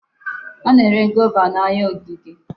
A na-ere Guava n'ahịa ogige.